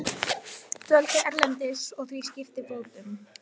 Dvöldu erlendis og því sviptir bótum